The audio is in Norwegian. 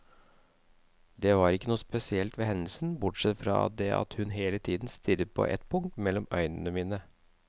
Det var ikke noe spesielt ved hendelsen, bortsett fra det at hun hele tiden stirret på et punkt mellom øynene mine.